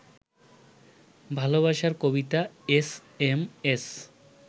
ভালবাসার কবিতা S M S